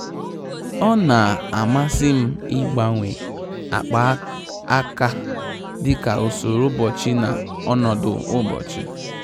Ọ́ nà-àmàsị́ m ị́gbanwe ákpá áká dika usoro ụ́bọ̀chị̀ na ọnọdụ ụ́bọ̀chị̀.